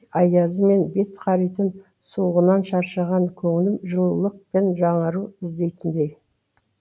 аязы мен бет қаритын суығынан шаршаған көңлім жылулық пен жаңару іздейтіндей